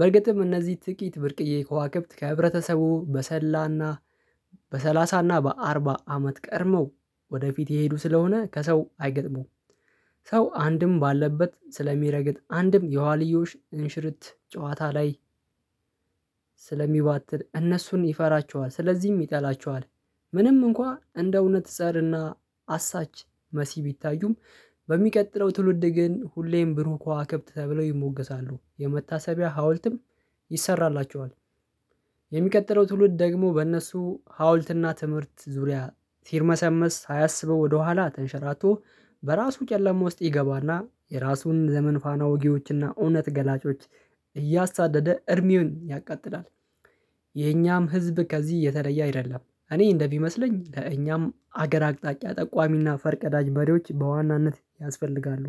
በርግጥም እነዚህ ጥቂት ብርቅዬ ከዋክብት ከህብረተሰቡ በሰላና በሰላሳና በአርባ አመት ቀድመው ወደፊት የሄዱ ስለሆነ ከሰው አይገጥሙም። ሰው አንድም ባለበት ስለሚረግጥ አንድም የዋልዮሽ እንሽርት ጨዋታ ላይ ስለሚባትል እነሱን ይፈራቸዋል ስለዚህም ይጠላቸዋል። ምንም እንኳን እንደ እውነት እጸርና አሳች መሲህ ቢታዩም በሚቀጥለው ትውልድ ግን ሁሌም ብሩክ ከዋክብት ተብለው ይሞገሳሉ የመታሰቢያ ሀውልትም ይሰራላቸዋል። የሚቀጥለው ትውልድ ደግሞ በእነሱ ሀውልትና ትምህርት ዙሪያ ሲርመሰመስ ሳያሰበው ወደኋላ ተንሸራቶ በራሱ ጨለማ ውስጥ ይገባና የራሱን ዘመን ፋና ውጊዎችና እውነት ገላጮች እያሳደደ እርሚውን ያቃጥላል። የኛም ህዝብ ከዚህ የተለየ አይደለም እኔ እንደሚመስለኝ ከእኛም ሀገር አቅጣጫ ጠቋሚና ፈርቀዳጅ መሬዎች በዋናነት ያስፈልጋሉ።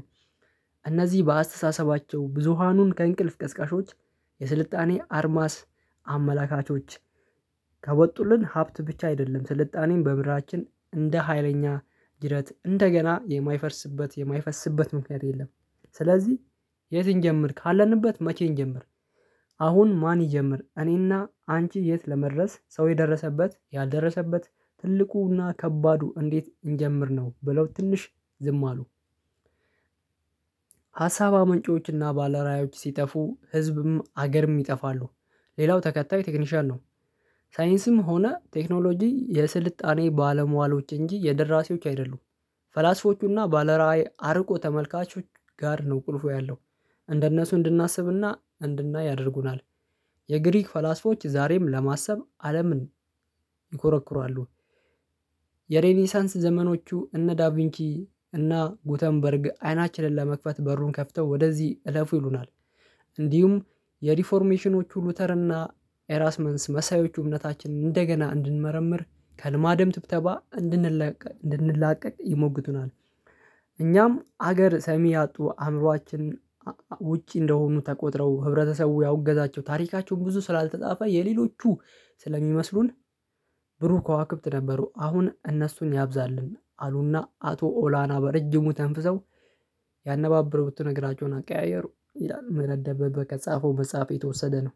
እነዚህ በአስተሳሰባቸው ብዙሃኑን ከእንቅልፍ ቀስቃሾች የስልጣኔ አርማስ አመላካቾች። ከወጡልን ሀብት ብቻ አይደለም ስልጣኔን በምራችን እንደ ሀይለኛ ጅረት እንደገና የማይፈርስበት የማይፈስበት ምክንያት የለም። ስለዚህ የት እንጀምር ካለንበት መቼ እንጀምር? አሁን ማን ይጀምር እኔና አንቺ የት ለመድረስ ሰው የደረሰበት ያልደረሰበት ትልቁና ከባዱ እንዴት እንጀምር ነው ብለው ትንሽ ዝም አሉ። ሀሳብ አመንጪዎችና ባለራያዎች ሲጠፉ ህዝብም ሀገርም ይጠፋሉ። ሌላው ተከታይ ቴክኒሻል ነው። ሳይንስም ሆነ ቴክኖሎጂ የስልጣኔ ባለሟሎች እንጂ የደራሲዎች አይደሉም። ፈላስፎቹና ባለራዕይ አርቆ ተመልካቾች ጋር ነው ቁልፉ ያለው። እንደነሱ እንድናስብና እንድናይ ያደርጉናል። የግሪክ ፈላስፎች ዛሬም ለማሰብ አለምን ይኮረኩራሉ። የሬዲሳንስ ዘመኖቹ እነ ዳቬንቺ እና ጉተንበርግ አይናችንን ለመክፈት በሩን ከፍተው ወደዚህ እለፉ ይሉናል። እንዲሁም የሪፎርሜሽኖች ሉተርና ኤራስመንስ መሳዮቹ እምነታችንን እንደገና እንድንመረምር ከልማደም ትብተባ እንድንለቀቅ እንድንላቀቅ ይሞግቱናል። እኛም ሀገር ሰሚ ያጡ አእምሮአችን ውጪ እንደሆኑ ተቆጥረው ህብረተሰቡ ያው እገዛቸው ታሪካቸውን ብዙ ስላልተጻፈ የሌሎቹ ስለሚመስሉን። ብሩህ ከዋክብት ነበሩ አሁን እነሱን ያብዛልን አሉና አቶ ኦላና በረጅሙ ተንፍሰው ያነባበሩትን እግራቸውን አቀያየሩ ይላል ምህረት ደበበ ከጻፈው መጽሐፍ የተወሰደ ነው።